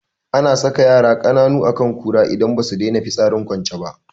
Ana saka yara kananu akan kura idan basu daina fitsarin kwance ba